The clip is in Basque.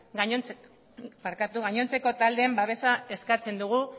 gainontzeko taldeen babesa eskatzen dugu